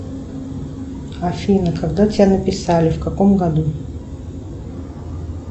афина когда тебя написали в каком году